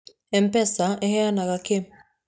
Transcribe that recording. M-Pesa ĩheanaga kĩĩ?